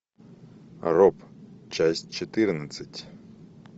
роб часть четырнадцать